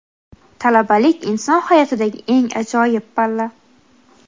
Talabalik - inson hayotidagi eng ajoyib palla!.